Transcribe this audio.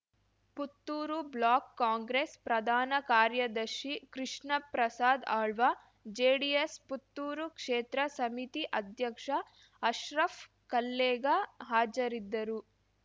Puttur block Congress ಪ್ರಧಾನ ಕಾರ್ಯದರ್ಶಿ ಕೃಷ್ಣ ಪ್ರಸಾದ್ ಆಳ್ವ ಜೆಡಿಎಸ್ ಪುತ್ತೂರು ಕ್ಷೇತ್ರ ಸಮಿತಿ ಅಧ್ಯಕ್ಷ ಅಶ್ರಫ್ ಕಲ್ಲೇಗ ಹಾಜರಿದ್ದರು